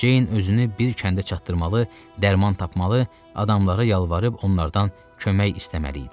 Ceyn özünü bir kəndə çatdırmalı, dərman tapmalı, adamlara yalvarıb onlardan kömək istəməli idi.